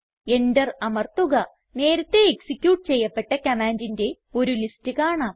enter അമർത്തുക നേരത്തേ execute ചെയ്യപ്പെട്ട കമാൻഡിന്റെ ഒരു ലിസ്റ്റ് കാണാം